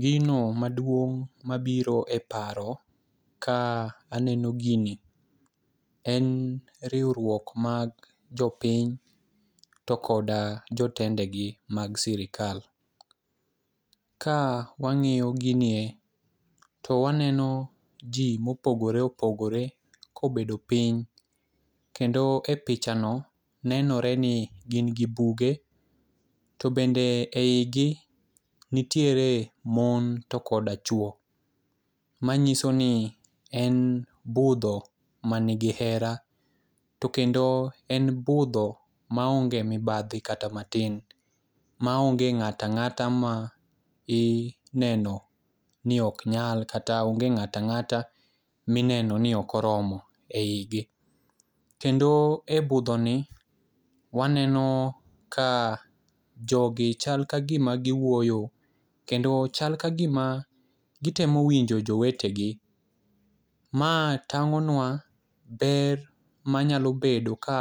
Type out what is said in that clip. Gino maduong' mabiro e paro ka aneno gini en riwruok mag jopiny to koda jotendegi mag sirikal. Ka wang'iyo gini e, to wanenop ji mopogore opogore kobedo piny kendo e pichano nenore ni gin gi buge to bende e i gi nitiere mon to koda chwo manyiso ni en budho manigi hera to kendo en budho maonge mibadhi kata matin maonge ng'at ang'ata ma ineno ni oknyal kata onge ng'atang'ata mineno ni okoromo e i gi. Kendo e budhoni waneno ka jogi chal kagima giwuoyo kendo chal kagima gitemo winjo jowetegi. Ma tang'onwa ber manyalo bedo ka